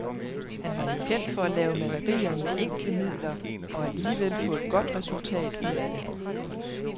Han var jo kendt for at lave malerier med enkle midler og alligevel få et godt resultat ud af det.